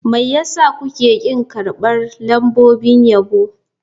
Me yasa kuke ƙin karɓar lambobin yabo.